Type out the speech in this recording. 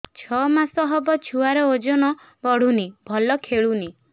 ଛଅ ମାସ ହବ ଛୁଆର ଓଜନ ବଢୁନି ଭଲ ଖେଳୁନି